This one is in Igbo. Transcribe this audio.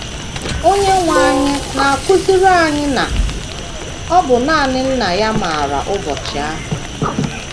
Onyenwe anyị na - akụziri anyị na ọ bụ nanị Nna ya maara ụbọchị ahụ.